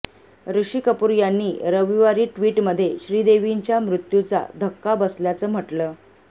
ऋषी कपूर यांनी रविवारी ट्विटमध्ये श्रीदेवींच्या मृत्युचा धक्का बसल्याचं म्हटलं